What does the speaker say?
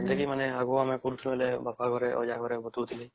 ଯୋଉଁଟାକି ମାନେ ଆମେ ଆଗରୁ କରୁଥିଲି ବାପା ଘରେ ଅଜା ଘରେ ବତାଉଥିଲି